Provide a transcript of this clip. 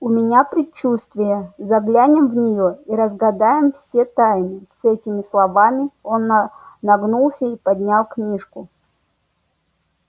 у меня предчувствие заглянем в неё и разгадаем все тайны с этими словами он на нагнулся и поднял книжку